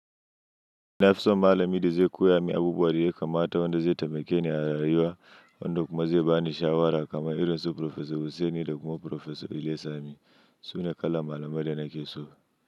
Nafi so malami da zai koya min abubuwa da yakamata wanda zai taimake ni a rayuwa, wanda kuma zai bani shawara kamar irin su Farfesa Hussaini da kuma Farfesa Iliyasu Aminu, su ne kalar malamai da nake so.